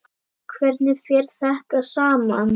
Hvernig fer þetta saman?